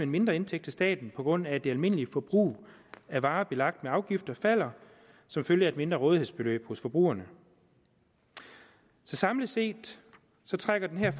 mindre indtægt til staten på grund af at det almindelige forbrug af varer belagt med afgifter falder som følge af et mindre rådighedsbeløb hos forbrugerne så samlet set trækker den her